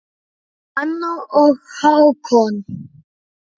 Hanna og Hákon.